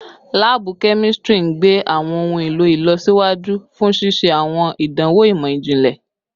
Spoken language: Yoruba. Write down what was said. Laabu kemistri n gbe awọn ohun elo ilọsiwaju fun ṣiṣe awọn idanwo imọ-jinlẹ